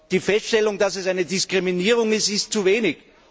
Die Feststellung, dass es eine Diskriminierung ist, ist zu wenig.